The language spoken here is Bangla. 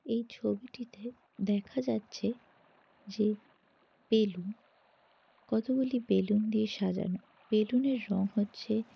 এই ছবিটিতে দেখা যাচ্ছে যে বেলুন কতোগুলি বেলুন দিয়ে সাজানো। বেলুন -এর রং হচ্ছে--